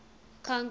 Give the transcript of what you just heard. congress